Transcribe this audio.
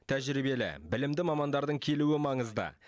тәжірибелі білімді мамандардың келуі маңызды